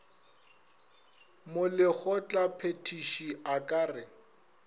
molekgotla phethiši a ka re